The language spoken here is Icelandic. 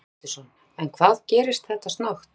Heimir Már Pétursson: En hvað gerist þetta snöggt?